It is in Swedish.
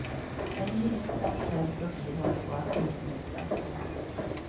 En ny internationell profil håller på att utmejslas.